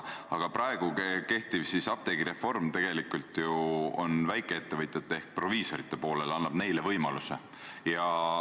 Aga praegune apteegireform tegelikult on väikeettevõtjate ehk proviisorite poolel, annab neile võimaluse.